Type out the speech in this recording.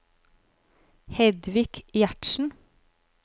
Hedvig Gjertsen